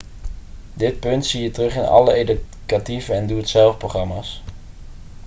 dit punt zie je terug in alle educatieve en doe-het-zelf-programma's